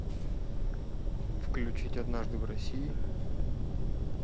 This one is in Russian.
включить однажды в россии